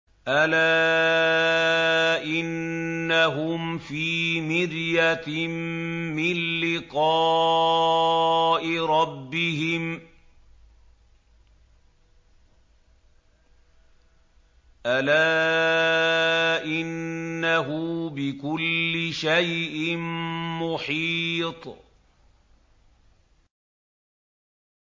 أَلَا إِنَّهُمْ فِي مِرْيَةٍ مِّن لِّقَاءِ رَبِّهِمْ ۗ أَلَا إِنَّهُ بِكُلِّ شَيْءٍ مُّحِيطٌ